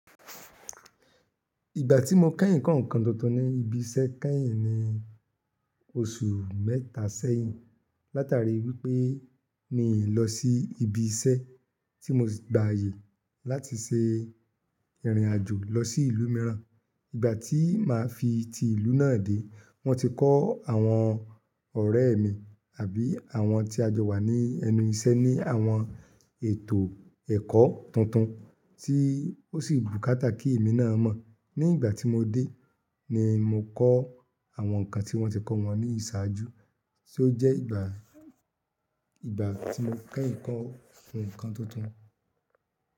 Ìgbà tí mo kẹ́yìn kọ́ nǹkan tuntun ní ibi iṣẹ́ kẹ́yìn ní oṣù mẹ́ta sẹ́yìn. Láti àríwí pé mi ò lọ sí ibi iṣẹ́ tí mo gba aye láti ṣe ìrìnàjò lọ sí ìlú mìíràn. Ìgbà tí màá fi ti ìlú náà dé, wọ́n ti kọ́ àwọn ọ̀rẹ́ mi àbí àwọn tí a jọ wà ní ẹnu iṣẹ́ ní àwọn ètò ẹ̀kọ́ tuntun tí ó sì bù kátà kí èmi náà mọ̀. Ní ìgbà tí mo dé ni mo kọ́ àwọn nǹkan tí wọ́n ti kọ́ wọn ní ìṣáájú, tí ó jẹ́ ìgbà ìgbà tí mo kẹ́yìn kọ́ nǹkan tuntun.